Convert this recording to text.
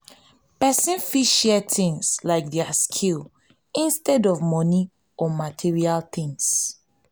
person fit share things like their skills instead of money or material things